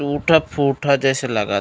टूटा-फुटा जैसे लागत--